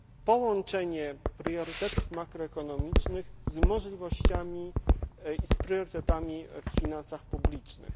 połączenie priorytetów makroekonomicznych z możliwościami i z priorytetami w finansach publicznych.